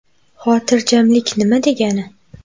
Xotirjamlik nima degani?